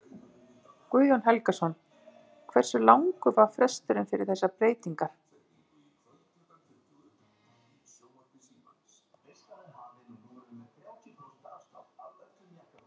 Guðjón Helgason: Hversu langur var fresturinn fyrir þessar breytingar?